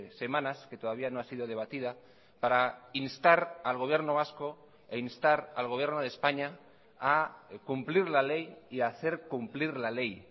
semanas que todavía no ha sido debatida para instar al gobierno vasco e instar al gobierno de españa a cumplir la ley y hacer cumplir la ley